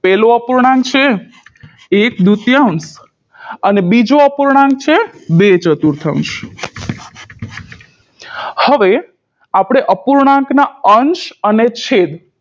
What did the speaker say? પેલો અપૂર્ણાંક છે એક દૂતયાંશ અને બીજો અપૂર્ણાંક છે બે ચતુર્થાંશ હવે આપણે અપૂર્ણાંકના અંશ અને છેદ